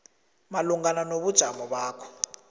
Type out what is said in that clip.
malungana nobujamo bakho